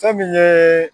Fɛn min ye